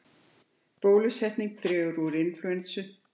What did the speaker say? Bólusetning dregur úr inflúensu